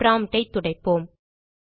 prompt ஐ துடைப்போம்